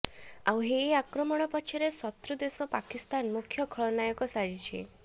ଆଉ ଏହି ଆକ୍ରମଣ ପଛରେ ଶତ୍ରୁଦେଶ ପାକିସ୍ତାନ ମୁଖ୍ୟ ଖଳନାୟକ ସାଜିଛି